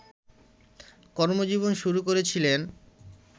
কর্মজীবন শুরু করেছিলেন